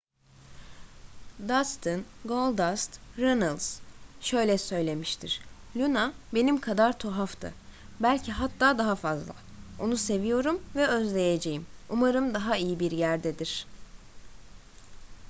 dustin goldust runnels şöyle söylemiştir luna benim kadar tuhaftı...belki hatta daha fazla...onu seviyorum ve özleyeceğim...umarım daha iyi bir yerdedir.